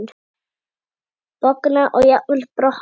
Bogna og jafnvel brotna.